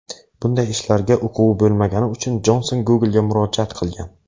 Bunday ishlarga uquvi bo‘lmagani uchun Jonson Google’ga murojaat qilgan.